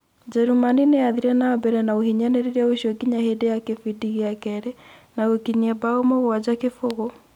njerumani nĩyathire na mbere na uhinyanirĩria ũcio nginya hindi ya kĩbindi gĩa kerĩ, na gũkinyia mbao mũgwanja kibũgu